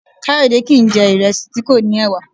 Kayode kìí n jẹ̀ ìrẹsì tí kò ní ẹ̀wà